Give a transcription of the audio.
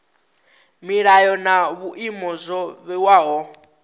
milayo na vhuimo zwo vhewaho